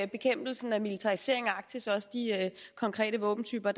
bekæmpelsen af militariseringen af arktis og også de konkrete våbentyper